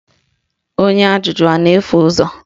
Onye ajụjụ ọ na-efu ụzọ?